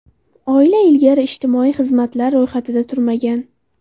Oila ilgari ijtimoiy xizmatlar ro‘yxatida turmagan.